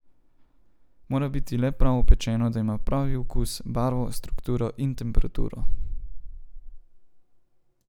Mora biti le prav opečeno, da ima pravi okus, barvo, strukturo in temperaturo.